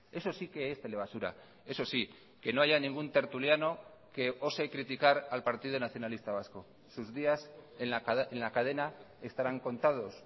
eso sí que es telebasura eso sí que no haya ningún tertuliano que ose criticar al partido nacionalista vasco sus días en la cadena estarán contados